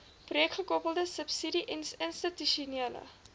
projekgekoppelde subsidie institusionele